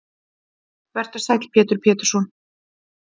Vertu sæll Pétur Pétursson.